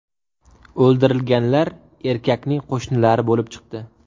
O‘ldirilganlar erkakning qo‘shnilari bo‘lib chiqdi.